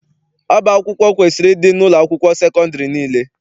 Ọba akwụkwọ kwesiri ịdị n'ụlọakwụkwọ sekọndịrị niile.